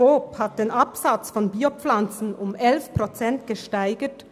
Coop hat den Absatz von Bio-Pflanzen um 11 Prozent gesteigert.